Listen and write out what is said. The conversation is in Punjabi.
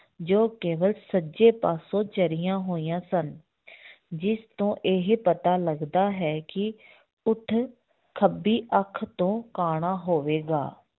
ਜੋ ਕੇਵਲ ਸੱਜੇ ਪਾਸੋਂ ਚਰੀਆਂ ਹੋਈਆਂ ਸਨ ਜਿਸ ਤੋਂ ਇਹ ਪਤਾ ਲੱਗਦਾ ਹੈ ਕਿ ਊਠ ਖੱਬੀ ਅੱਖ ਤੋਂ ਕਾਣਾ ਹੋਵੇਗਾ।